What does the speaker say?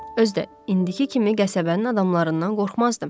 Özü də indiki kimi qəsəbənin adamlarından qorxmazdım.